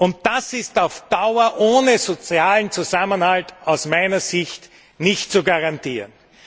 Und das ist auf Dauer ohne sozialen Zusammenhalt aus meiner Sicht nicht zu garantieren.